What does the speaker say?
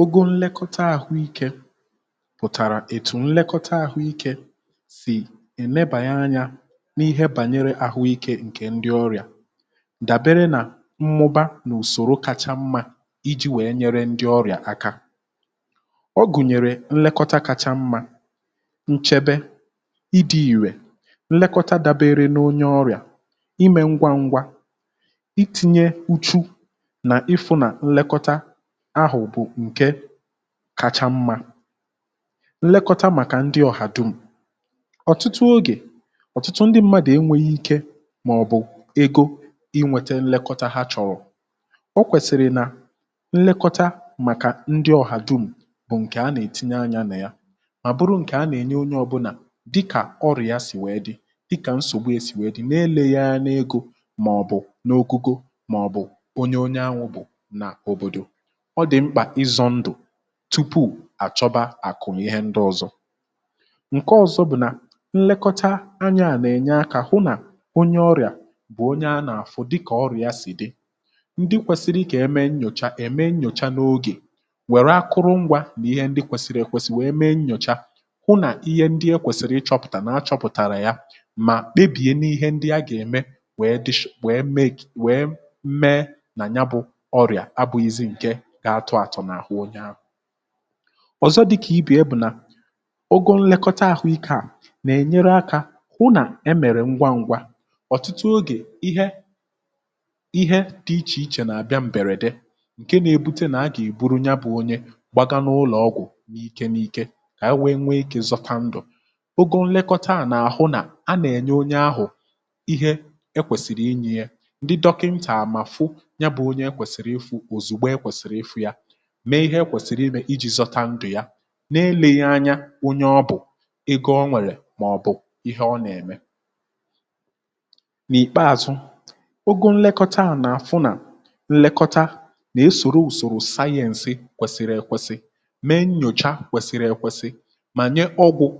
ogo nlekọta àhụ ikė um pụ̀tàrà ètù nlekọta àhụ ikė sì ènebàanya n’ihe bànyere àhụ ikė ǹkè ndị ọrị̀à dàbere nà mmụba n’ùsòrò kacha mmȧ iji̇ wèe nyere ndị ọrị̀à aka ọ gụ̀nyèrè nlekọta kacha mmȧ nchebe ịdị̇ ìrè nlekọta dàbere n’onye ọrị̀à imė ngwa ngwa iti̇nye uchu̇ nà ịfụ̇ nà nlekọta ahụ̀ bụ̀ ǹkè kacha mmȧ nlekọta màkà ndị ọ̀ha dum̀ ọ̀tụtụ ogè ọ̀tụtụ ndị m̀madụ̀ enwėghi̇ ike mà ọ̀ bụ̀ ego inwėtė nlekọta ha chọ̀rọ̀ um o kwèsị̀rị̀ nà nlekọta màkà ndị ọ̀ha dum̀ bụ̀ ǹkè a nà-ètinye anyȧ nà ya mà bụrụ ǹkè a nà-ènye onye ọbụlàdịkà ọrịà si wee dị dịkà nsògbu e si wee dị̀ n’eleghịa n’egȯ mà ọ̀ bụ̀ n’ogugo mà ọ̀ bụ̀ onye onye ahụ bụ̀ nà òbòdò tupu à chọba àkụ̀ ihe ndị ọzọ̇ ǹke ọzọ bụ̀ nlekọta anya à nà-ènye akȧ hụ nà onye ọrịà bụ̀ onye a nà-àfụ dịkà ọrịà sì dị ndị kwèsiri kà eme nnyòcha ème nnyòcha n’ogè nwèrè akụrụ ngwȧ nà ihe ndị kwèsiri ekwesì wèe mee nnyòcha hụ nà ihe ndị ekwèsiri ịchọ̇pụ̀tà na-achọpụ̀tàrà yȧ mà debìye n’ihe ndị a gà-ème wèe dish wèe meė nà nya bụ̇ ọrịà abụ̇ghịzị ǹke ọ̀zọ dịkà ibe e bụ̀ nà ogȯ nlẹkọta àhụikė à nà-ènyere akȧ hụ nà e mèrè ngwa ngwa ọ̀tụtụ ogè ihe ihe dị̇ ichè ichè nà-àbịa m̀bèrèdè ǹke nȧ-ėbute nà a gà-èburu nya bụ̇ onye gbagaa n’ụlọ̀ọgwụ̀ n’ike n’ike kà e wee nwee ikė zọta ndụ̀ ogo nlẹkọta à nà-àhụ nà a nà-ènye onye ahụ̀ ihe e kwèsìrì inyė ya ǹdị dọkịntààmàfu mee ihe ekwèsìrì imè iji̇ zọta ndụ̀ ya um na-elìghì anya onye ọ bụ̀ ịga oṅwèrè màọ̀bụ̀ ihe ọ nà-ème n’ìkpeazụ oguu nlekọta à nà-àfụ nà nlekọta nà-esòrò ùsòrò sayeǹsɪ kwesiri ekwesi mee nnyòcha kwesiri ekwesi mànye ọgwụ̀